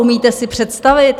Umíte si představit...